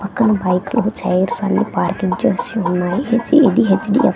అక్కడ బైకులు చైర్స్ అన్ని పార్కింగ్ చేసి ఉన్నాయి హెచ్ ఈ_ఇ_ఏ_డి_హెచ్_డి_ఎఫ్ --